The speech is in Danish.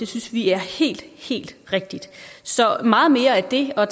synes vi er helt helt rigtigt så meget mere af det og